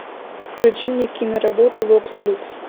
включи мне киноработу вокс люкс